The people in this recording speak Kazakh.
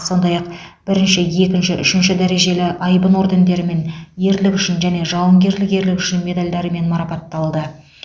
сондай ақ бірінші екінші үшінші дәрежелі айбын ордендерімен ерлігі үшін және жауынгерлік ерлігі үшін медальдарымен марапатталды